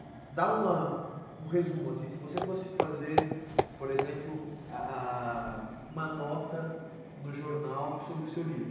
dá uma um resumo assim, se você fosse fazer, por exemplo, ah, ah, uma nota no jornal sobre o seu livro.